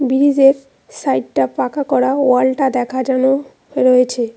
ব্রিজের সাইটটা পাকা করা ওয়ালটা দেখা জানো রয়েছে।